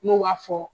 N'u b'a fɔ